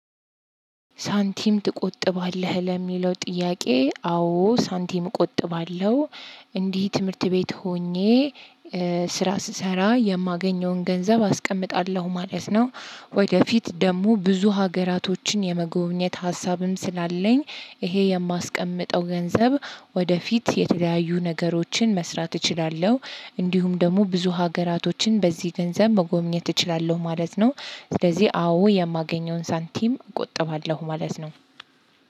ሳንቲም ትቆጥባለህ ለሚለው ጥያቄ አዎ ሳንቲም እቆጥባለሁ እንዲህ ትምህርት ቤት ሆኜ ስራ ስሰራ የማገኘውን ገንዘብ አስቀምጣለሁ ማለት ነው። ወደፊት ደግሞ ብዙ ሀገራቶችን የመጎብኘት ሀሳብም ስላለኝ። ይሄ የማስቀምጠው ገንዘብ ወደፊት የተለያዩ ነገሮችን መስራት እችላለሁ። እንዲሁም ደግሞ ብዙ ሀገራቶችን በዚህ ገንዘብ መጎብኘት እችላለሁ ማለት ነው። ስለዚህ አዎ የማገኘውን ሳንቲም እቆጥባለሁ ማለት ነው።